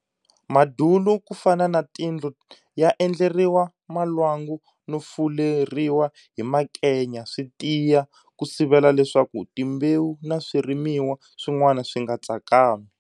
Madulu ku fana na tindlu ya endleriwa malwangu no fuleriwa hi makenya swi tiya ku sivela leswaku timbewu na swirimiwa swin'wana swi nga tsakami.